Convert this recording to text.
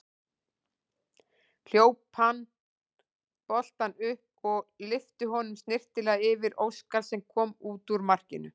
Hljóp hann boltann upp og lyfti honum snyrtilega yfir Óskar sem kom út úr markinu.